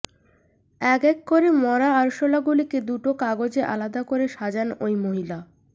এক এক করে মরা আরশোলাগুলিকে দুটো কাগজে আলাদা করে সাজান ওই মহিলা